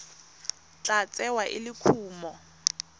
tla tsewa e le kumo